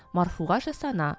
марфуға жас ана